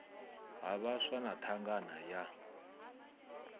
ha vhaswa na thangana ya